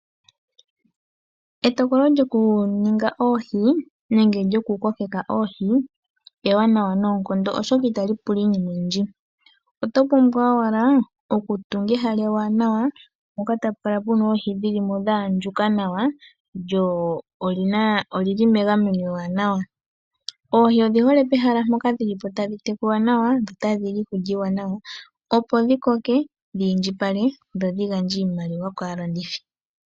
Etokolo lyokuninga oohi nenge lyokukoke oohi ewanawa noonkondo, oshoka itali pula iinima oyindji. Oto pumbwa owala okutunga ehala ewanawa, mpoka tapu kala pu na oohi dhi li mo dha andjuka nawa, lyo oli li megameno ewanawa. Oohi odhi hole pehala mpoka dhi li po tadhi tekulwa nawa dho otadhi li iikulya iiwanawa, opo dhi koke dhi indjipale dho dhi gandje iimaliwa kaalandithi.